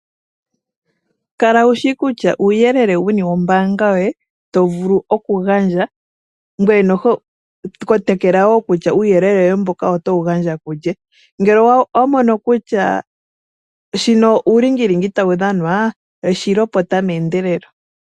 Kala wu shi kutya uuyelele, wuni wo mbaanga yoye, to vulu oku gandja, ngweye noho, kotokela woo nokutya uuyelele woye mbono oto wu gandja kulye. Ngele owa mono kutya, shino uulingilingi ta wu dhanwa, shi lopota meendelelo.